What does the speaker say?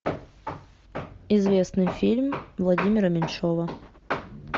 известный фильм владимира меньшова